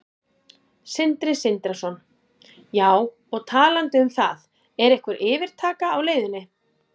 Sindri Sindrason: Já, og talandi um það, er einhver yfirtaka á leiðinni?